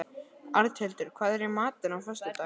Arnhildur, hvað er í matinn á föstudaginn?